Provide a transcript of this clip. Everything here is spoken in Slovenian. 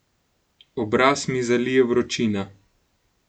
Obraz mi zalije vročina.